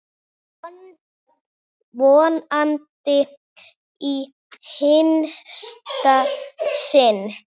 Vonandi í hinsta sinn.